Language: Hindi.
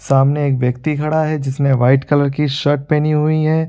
सामने एक व्यक्ति खड़ा है जिसने व्हाइट कलर की शर्ट पहनी हुई है।